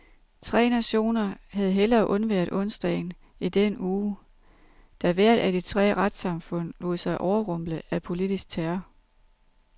Tre nationer havde hellere undværet onsdagen i den uge, da hvert af de tre retssamfund lod sig overrumple af politisk terror.